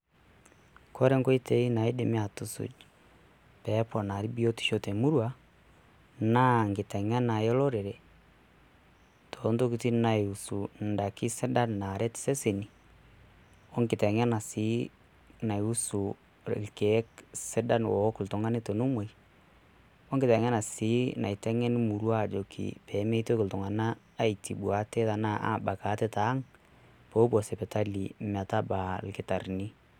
Kore enkoitoi naadimi aatusuj' pee eponari biotisho te murua enkiteng'ena olorere toontokitin naiusu endaiki sidan naaret iseseni wengiteng'ena sii naiusu irkiek sidan loowok oltung'ani tenemoi, o wengiteng'ena sii emurua najokini peemeitoki iltung'anak aitubu ate tiang' peepuo sipitali metabaa ilkitarrini.